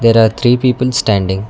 there are three people standing.